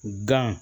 Gan